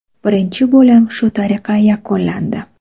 Birinchi bo‘lim shu tariqa yakunlandi.